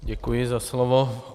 Děkuji za slovo.